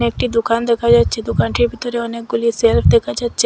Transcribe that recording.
একটি দোকান দেখা যাচ্ছে দোকানটির ভিতরে অনেকগুলি শেলফ দেখা যাচ্ছে।